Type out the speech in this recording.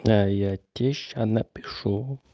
да я тебе сейчас напишу